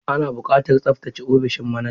Ana buƙatar tsaftace ofishin manajan.